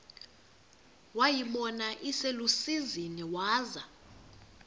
wayibona iselusizini waza